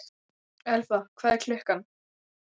Elba, hvað er klukkan?